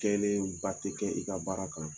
Kɛlen ba tɛ kɛ i ka baara kan.